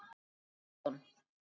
Sveinn Eldon.